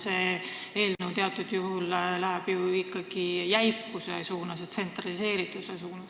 See eelnõu läheb ju teatud mõttes jäikuse ja tsentraliseerituse suunas.